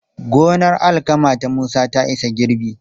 Gonar alkama ta Musa ta isa girbi.